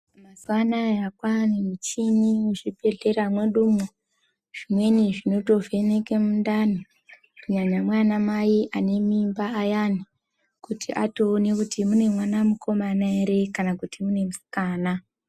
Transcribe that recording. Mazuwa anaya kwane michini muzvibhehlera mwedumwo zvimweni zvinotovheneke mundani kunyanya mwana mai ane mimba ayani kuti atoone kuti mune mwana wemukomana ere kana kuti musikana.